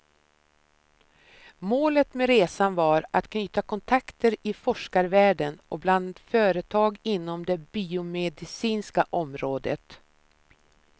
Målet med resan var att knyta kontakteter i forskarvärlden och bland företag inom det biomedicinska området.